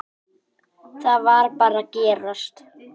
Það varð bara að gerast.